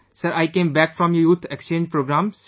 Sir, I came back from the youth Exchange Programme,